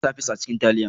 Na sa fis a cikin taliya